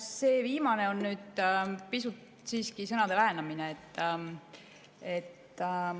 See viimane on nüüd pisut siiski sõnade väänamine.